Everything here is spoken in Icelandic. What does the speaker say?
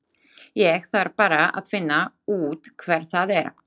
Ég þarf bara að finna út hver það er.